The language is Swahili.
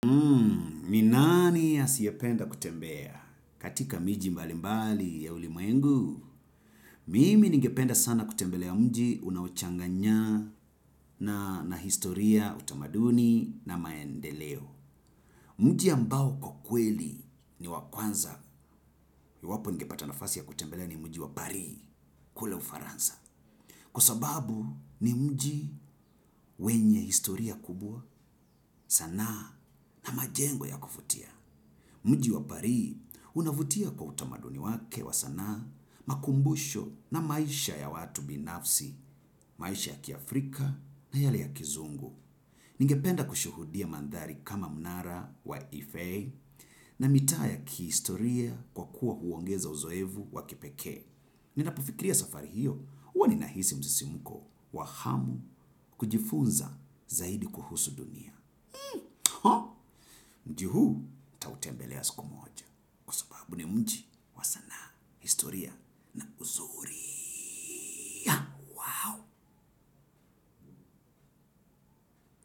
Ni nani asiyependa kutembea katika miji mbali mbali ya ulimwengu. Mimi ningependa sana kutembelea mji unaochanganya na historia utamaduni na maendeleo. Mji ambao kwa kweli ni wa kwanza. Iwapo ningepata nafasi ya kutembelea ni mji wa Paris kule ufaransa. Kwa sababu ni mji wenye historia kubwa sana na majengo ya kuvutia mji wa paris, unavutia kwa utamaduni wake wa sanaa, makumbusho na maisha ya watu binafsi, maisha ya kiafrika na yale ya kizungu. Ningependa kushuhudia mandhari kama mnara wa ifei na mitaa ya kihistoria kwa kuwa huongeza uzoefu wa kipeke. Ninapofikiria safari hiyo, huwa ninahisi msisimko wa hamu kujifunza zaidi kuhusu dunia. Mji huu nitautembelea siku moja. Kwa sababu ni mji wa sanaa, historia na uzuri.